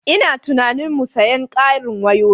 Ina tunanin mu sayen ƙarin wayoyi.